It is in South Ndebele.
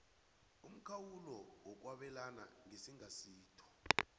umkhawulo wokwabelana ngesingasitho